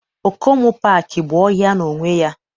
Okomu paaki bụ ọhịa n'onwe ya